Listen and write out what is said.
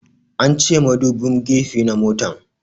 An ce madubin gefe na motan